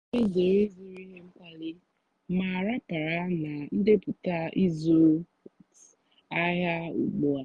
ọ́ nà-èzèré ị́zụ́rụ́ íhé mkpàlìì mà ràpárá nà ndépụ́tá ị́zụ́ àhịá ùgbúà.